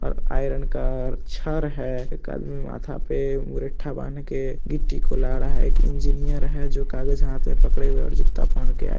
एक आइअर्न का छर है एक आदमी माथा पे मुरेठहा बांध के गिट्टी को ला रहा है एक इंजीनियर है जो कागज हाथ मे पकड़े हुए है और जुत्ता पहने के आया --